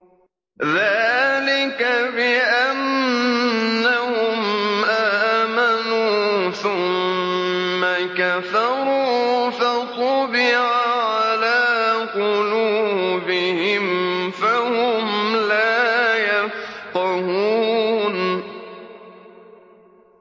ذَٰلِكَ بِأَنَّهُمْ آمَنُوا ثُمَّ كَفَرُوا فَطُبِعَ عَلَىٰ قُلُوبِهِمْ فَهُمْ لَا يَفْقَهُونَ